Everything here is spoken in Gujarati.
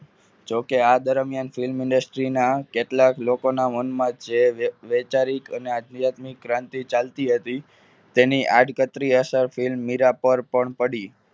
જોકે આ દરમિયાન film industry ના કેટલાક લોકોના મનમાં જે વૈચારિક અને આધ્યાત્મિક ક્રાંતિ ચાલતી હતી તેની આડકતરી અસર film મીરા પર પડી.